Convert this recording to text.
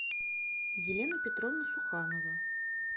елена петровна суханова